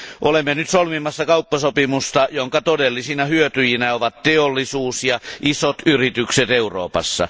Olemme nyt solmimassa kauppasopimusta, jonka todellisina hyötyjinä ovat teollisuus ja isot yritykset Euroopassa.